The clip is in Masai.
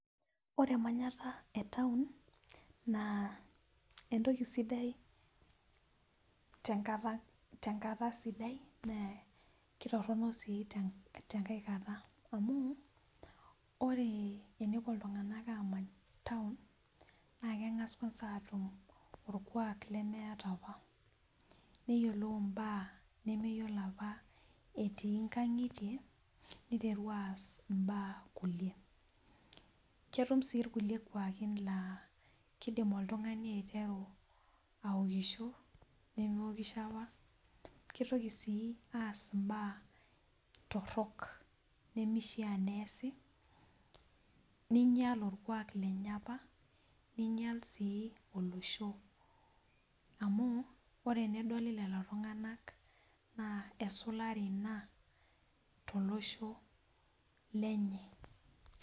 Ore emanyata Etaon naa keisidai tenkae kata naa kitoronok sii tenkae kata amu ore tenepuo iltunganak amany taon naa kengas kwanza atum orkwak lemeeta apa nayiolou mbaa nemeyiolo apa etii nkangitie niteru aas nkulie ,ketum sii irkulie kwaaki laa kaidim oltungani aiteru aokisho nemeokisho apa ,kitoki sii aas mbaa torok nimishaa neesi, neinyal orkwak lenye apa neinyal sii olesho amu ,ore tenedoli lelo tungak naa esulare ina tolosho lenye.